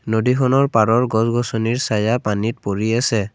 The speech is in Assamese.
নদীখনৰ পাৰৰ গছ-গছনি চায়া পানীত পৰি আছে।